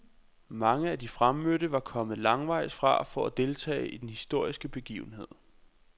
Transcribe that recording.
Mange af de fremmødte var kommet langvejs fra for at deltage i den historiske begivenhed.